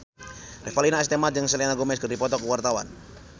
Revalina S. Temat jeung Selena Gomez keur dipoto ku wartawan